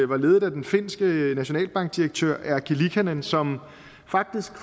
var ledet af den finske nationalbankdirektør erkki liikanen som faktisk